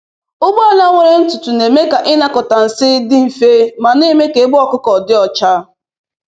Ụgbọala nwere ntụtụ na-eme ka ịnakọta nsị dị mfe ma na-eme ka ebe ọkụkụ dị ọcha.